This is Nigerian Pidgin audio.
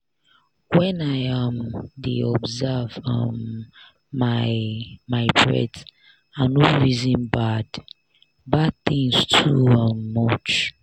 when i um dey observe um my my breath i no reason bad-bad tins too um much.